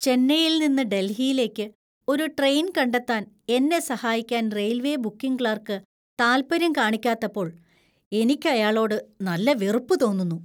ചെന്നൈയിൽ നിന്ന് ഡൽഹിയിലേക്ക് ഒരു ട്രെയിൻ കണ്ടെത്താൻ എന്നെ സഹായിക്കാൻ റെയിൽവേ ബുക്കിംഗ് ക്ലാർക്ക് താൽപര്യം കാണിക്കാത്തപ്പോൾ എനിക്ക് അയാളോട് നല്ല വെറുപ്പ് തോന്നുന്നു.